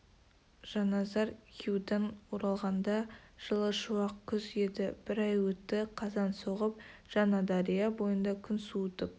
жанназар хиудан оралғанда жылы шуақ күз еді бір ай өтті қазан соғып жаңадария бойында күн суытып